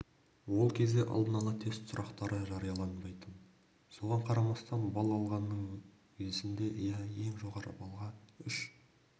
ол кезде алдын-ала тест сұрақтары жарияланбайтын соған қарамастан балл алғаның есімде иә ең жоғары баллға үш